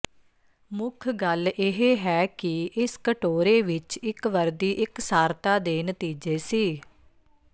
ਮੁੱਖ ਗੱਲ ਇਹ ਹੈ ਕਿ ਇਸ ਕਟੋਰੇ ਵਿੱਚ ਇੱਕ ਵਰਦੀ ਇਕਸਾਰਤਾ ਦੇ ਨਤੀਜੇ ਸੀ